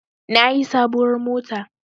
Na yi sabuwar mota